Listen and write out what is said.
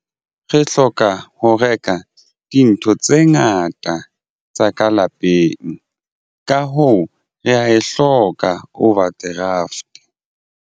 Re hloka ho reka dintho tse ngata tsa ka lapeng. Ka hoo re ya e hloka overdraft.